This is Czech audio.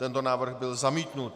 Tento návrh byl zamítnut.